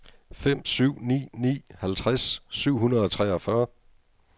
fem syv ni ni halvtreds syv hundrede og treogfyrre